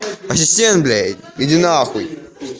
ассистент бля иди на хуй